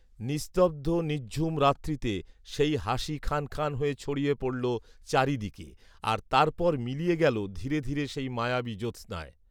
নিস্তব্ধ নিঝঝুম রাত্রীতে সেই হাসি খান খান হয়ে ছড়িয়ে পড়লো চারিদিকে আর তারপর মিলিয়ে গেলো ধীরে ধীরে সেই মায়াবী জ্যোস্নায়